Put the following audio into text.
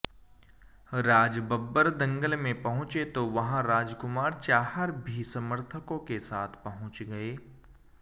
राज बब्बर दंगल में पहुंचे तो वहां राजकुमार चाहर भी समर्थकों के साथ पहुंच गए